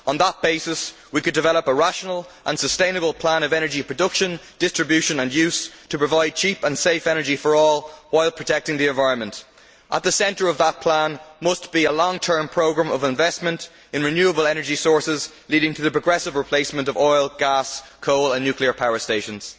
On that basis, we could develop a rational and sustainable plan for energy production, distribution and use, to provide cheap and safe energy for all, while protecting the environment. At the centre of that plan, there must be a long term programme of investment in renewable energy sources leading to the progressive replacement of oil, gas, coal and nuclear power stations.